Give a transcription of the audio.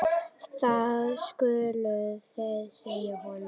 Það skuluð þið segja honum!